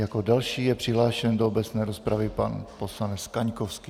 Jako další je přihlášen do obecné rozpravy pan poslanec Kaňkovský.